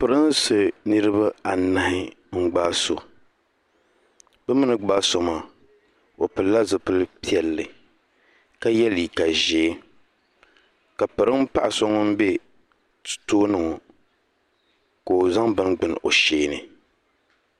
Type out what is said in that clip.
pirinsi niraba anahi n gbaai so bi mii ni gbaai so maa o pilila zipili piɛlli ka yɛ liiga ʒiɛ ka pirin paɣa so ŋun bɛ tooni ŋɔ ka o zaŋ bini gbuni o sheeni